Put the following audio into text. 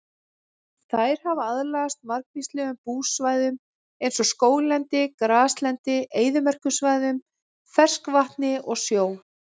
Þær hafa aðlagast margvíslegum búsvæðum eins og skóglendi, graslendi, eyðimerkursvæðum, ferskvatni og sjó.